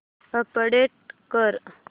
update कर